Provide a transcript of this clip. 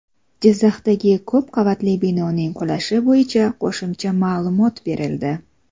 Jizzaxdagi ko‘p qavatli binoning qulashi bo‘yicha qo‘shimcha ma’lumot berildi.